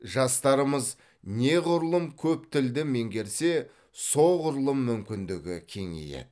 жастарымыз неғұрлым көп тілді меңгерсе соғұрлым мүмкіндігі кеңейеді